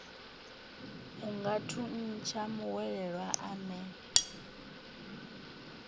a nga thuntsha muhwelelwa ane